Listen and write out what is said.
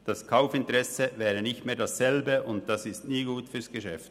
Das Kaufinteresse wäre nicht mehr dasselbe, und das ist nie gut fürs Geschäft.